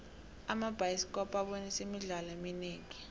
amabhayisikopo abonisa imidlalo eminingi